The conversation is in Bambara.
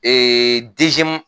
Ee